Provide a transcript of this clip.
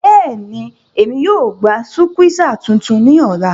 Bẹ́ẹ̀ni, Émi yóò gba sukwéesá tuntun ni ọla.